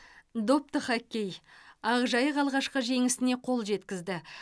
допты хоккей ақжайық алғашқы жеңісіне қол жеткізді